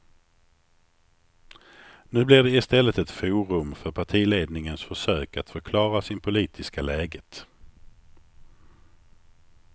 Nu blir det i stället ett forum för partiledningens försök att förklara sin politiska läget.